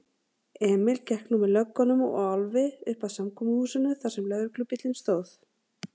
Emil gekk nú með löggunum og Álfi uppað samkomuhúsinu þarsem lögreglubíllinn stóð.